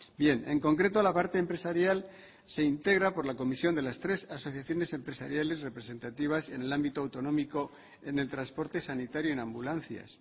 bien en concreto la parte empresarial se integra por la comisión de las tres asociaciones empresariales representativas en el ámbito autonómico en el transporte sanitario en ambulancias